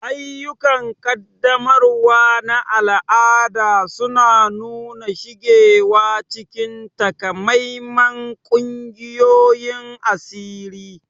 Ayyukan ƙaddamarwa na al'ada suna nuna shigarwa cikin takamaiman ƙungiyoyin asiri.